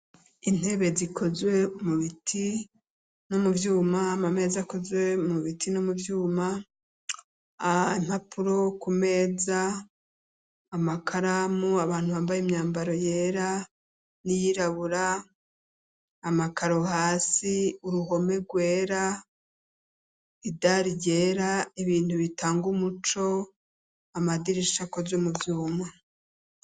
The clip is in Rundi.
Intebe zikozwe umubiti no muvyuma ama meza akozwe mubiti no mu vyuma a ntapuro ku meza amakaramu abantu bambaye imyambaro yera n'iyirabura amakaro hasi uruhome rwera idari ryera ibintu bitanga umuco amadirisha akozwe muvyuma.